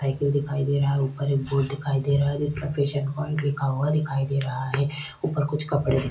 Cycle दिखाई दे रहा है ऊपर एक बोर्ड दिखाई दे रहा है। जिसमे पेशंट पॉइंट लिखा हुआ दिखाई दे रहा है। ऊपर कुछ कपड़े --